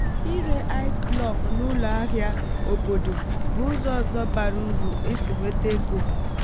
ịre ice block n'ụlọ ahịa obodo bụ ụzọ ọzọ bara uru isi nweta ego